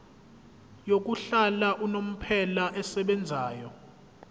yokuhlala unomphela esebenzayo